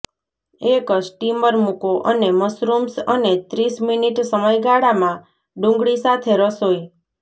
એક સ્ટીમર મૂકો અને મશરૂમ્સ અને ત્રીસ મિનિટ સમયગાળામાં ડુંગળી સાથે રસોઇ